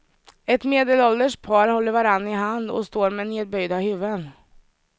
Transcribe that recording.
Ett medelålders par håller varann i hand och står med nedböjda huvuden.